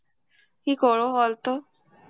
কী করব বলতো?